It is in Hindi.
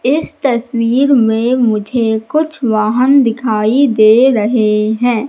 इस तस्वीर में मुझे कुछ वाहन दिखाई दे रहे हैं।